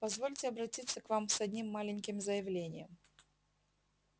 позвольте обратиться к вам с одним маленьким заявлением